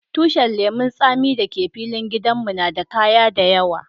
Tushin lemun tsami da ke filin gidan mu na de kaya da yawa.